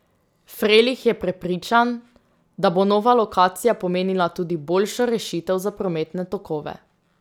Frelih je prepričan, da bo nova lokacija pomenila tudi boljšo rešitev za prometne tokove.